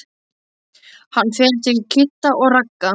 Hann fer til Kidda og Ragga.